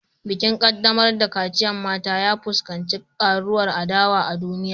Bikin kaddamar da kaciyar mata, ya fuskanci karuwar adawa a duniya